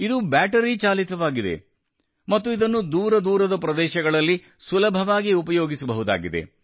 ಇದು ಬ್ಯಾಟರಿ ಚಾಲಿತವಾಗಿದೆ ಮತ್ತು ಇದನ್ನು ದೂರ ದೂರದ ಪ್ರದೇಶಗಳಲ್ಲಿ ಸುಲಭವಾಗಿ ಉಪಯೋಗಿಸಬಹುದಾಗಿದೆ